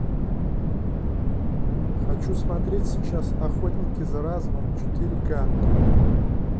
хочу смотреть сейчас охотники за разумом четыре ка